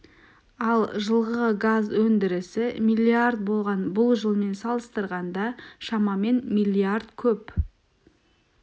ал жылғы газ өндірісі миллиард болған бұл жылмен салыстырғанда шамамен миллиард көп